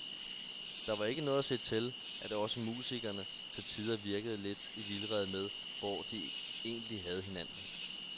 Der var ikke noget at sige til, at også musikerne til tider virkede lidt i vildrede med, hvor de egentlig havde hinanden.